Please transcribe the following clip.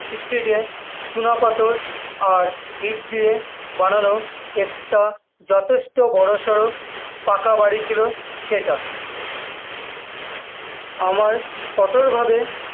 street এ চুনাপাথর আর ইট দিয়ে বানানো একটা যথেষ্ট বড়োসড়ো পাকা বাড়ি ছিল সেটা, আমার কঠোরভাবে